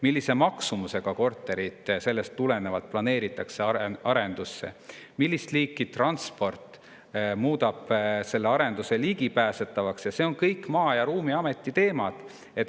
Millise maksumusega kortereid planeeritakse, millist liiki transport muudab selle arendus ligipääsetavaks – need on kõik Maa‑ ja Ruumiameti teemad.